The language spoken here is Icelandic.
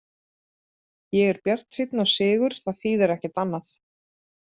Ég er bjartsýnn á sigur, það þýðir ekkert annað.